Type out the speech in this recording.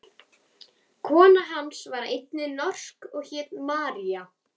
Kona hans var einnig norsk og hét María.